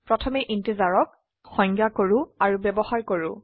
প্ৰথমে ইন্টিজাৰক সংজ্ঞয় কৰো আৰু ব্যবহাৰ কৰো